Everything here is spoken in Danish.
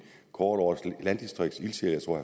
kåret årets landdistriktsildsjæl jeg tror